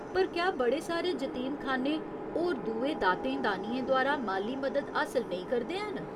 पर क्या बड़े सारे जतीमखान्ने होर दुए दातें दानियें द्वारा माली मदद हासल नेईं करदे हैन ?